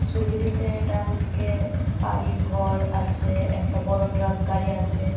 ছবিটিতে ডানদিকে বাড়িঘর আছে একটা বড়ো ট্রাকগাড়ি আছে.